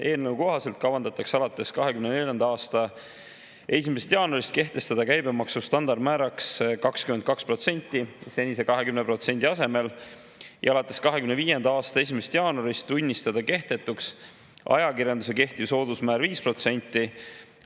Eelnõu kohaselt kehtestatakse alates 2024. aasta 1. jaanuarist käibemaksu standardmääraks 22% senise 20% asemel ja alates 2025. aasta 1. jaanuarist tunnistatakse kehtetuks ajakirjandusele kehtiv soodusmäär 5%.